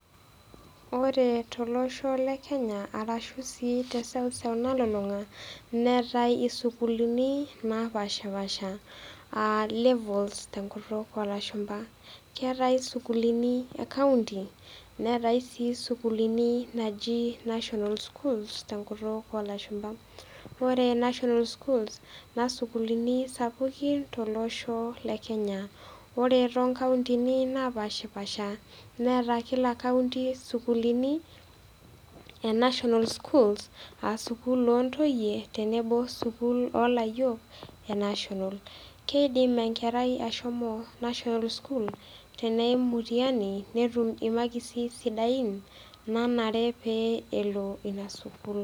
Ore tolosho le Kenya ashu sii te eseuseu nalulung'a neatai sii isukulini napaashipasha, aa levels te enkutuk oo lashumba. Keatai isukulini e kaunti, neatai sii isukulini naaji National schools te enkutuk oo ilashumba. Ore national schools, naa isukulini sapukin tolosho le Kenya. Ore too inkauntini napashipasha, neata kila kaunti isukuulini e national schools, aa sukuul oo ntoiye, tenebo o sukuulini oo layiok e national. Keidim enkerai ashomo national school teneim mutihani, netum imakisi sidain naanare pee elo ina sukuul.